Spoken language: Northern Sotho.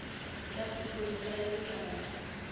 ya sephodisa ya lekala ke